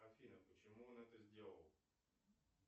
афина почему он это сделал